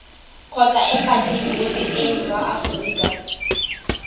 kgotsa embasing botseteng ba aforika